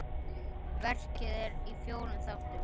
Verkið er í fjórum þáttum.